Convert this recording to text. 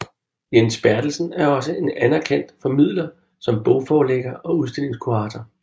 Jens Bertelsen er også en anerkendt formidler som bogforlægger og udstillingskurator